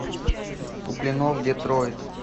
куплинов детройт